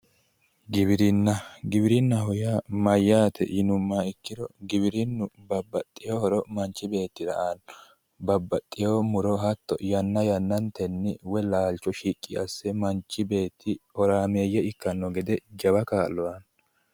Giwirinna, giwirinnaho yaa mayyaate yinummoha ikkiro giwirinnu babbaxewo horo manchi beettira aanno babbaxewo muro hatto yanna yannantenni woyi laalcho shiqqi asse manchi beetti horaameeyye ikkanno gede jawa kaa'lo aanno.